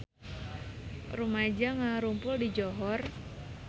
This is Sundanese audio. Rumaja ngarumpul di Johor